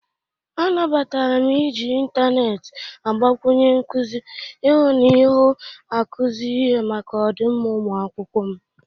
Anabatara m iji intaneet agbakwụnyere nkụzị ịhụ na ịhụ akụzi ihe maka ọdịmma ụmụakwụkwọ m.